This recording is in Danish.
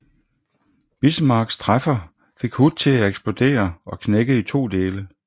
Bismarcks træffer fik Hood til eksplodere og knække i to dele